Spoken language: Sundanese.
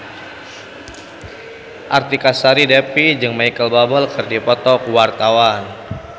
Artika Sari Devi jeung Micheal Bubble keur dipoto ku wartawan